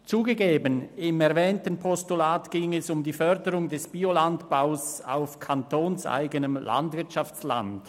Zugegeben: Im erwähnten Postulat ging es um die Förderung des Biolandbaus auf kantonseigenem Landwirtschaftsland.